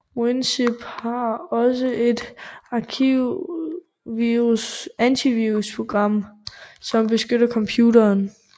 WinZip har også et antivirusprogram som beskytter computeren